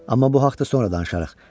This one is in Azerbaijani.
Amma bu haqda sonra danışarıq.